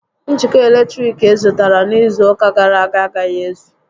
Njikọ eletriki ị zụtara n'izu ụka gàrà aga agaghi ézù